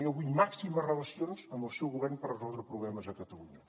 jo vull màximes relacions amb el seu govern per resoldre problemes a catalunya